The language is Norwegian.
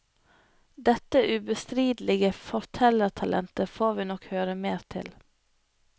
Dette ubestridelige fortellertalentet får vi nok høre mer til.